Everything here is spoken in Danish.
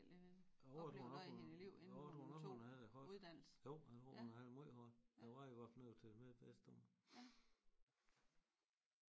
Jo jeg tror nok hun jeg tror nok hun havde det hårdt jo jeg tror nok hun havde det møj hårdt der var i hvert fald noget å TV Midtvest om det